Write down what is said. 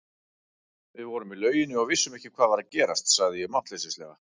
Við vorum í lauginni og vissum ekki hvað var að gerast, sagði ég máttleysislega.